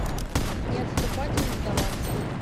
не отступать и не сдаваться